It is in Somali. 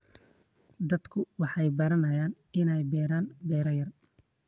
Dadku waxay baranayaan inay beeraan beer yar.